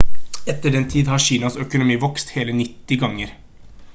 etter den tid har kinas økonomi vokst hele 90 ganger